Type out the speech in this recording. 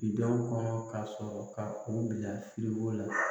Bidenw kɔnɔ ka sɔrɔ ka o bila la